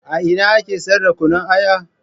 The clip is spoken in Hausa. A ina ake siyar da Kunna Aya?